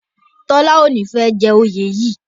Tola o ní fè jé oyè yí.